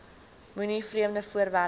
moenie vreemde voorwerpe